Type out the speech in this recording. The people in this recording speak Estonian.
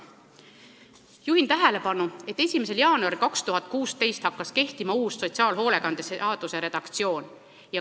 Juhin tähelepanu, et 1. jaanuaril 2016 hakkas kehtima sotsiaalhoolekande seaduse uus redaktsioon.